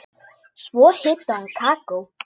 Svo hitaði hún kakó.